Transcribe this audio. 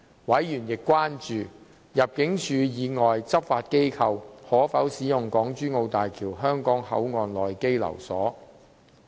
委員亦關注入境處以外執法機構可否使用港珠澳大橋香港口岸區內的羈留所。